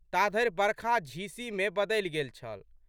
ताधरि बरखा झीसीमे बदलि गेल छल।